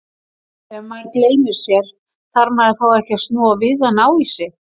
Ef maður gleymir sér, þarf maður þá ekki að snúa við og ná í sig?